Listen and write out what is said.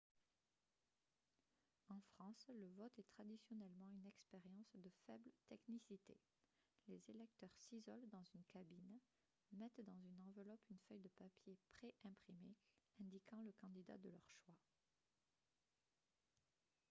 en france le vote est traditionnellement une expérience de faible technicité les électeurs s'isolent dans une cabine mettent dans une enveloppe une feuille de papier pré-imprimée indiquant le candidat de leur choix